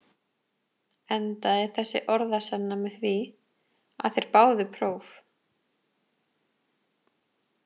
Endaði þessi orðasenna með því, að þeir báðu próf.